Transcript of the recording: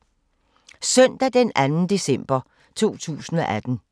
Søndag d. 2. december 2018